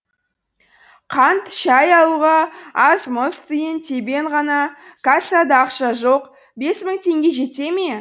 қант шәй алуға аз мұз тиын тебен ғана кассада ақша жоқ бес мың теңге жете ме